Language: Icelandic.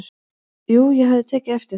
"""Jú, ég hafði tekið eftir þeim."""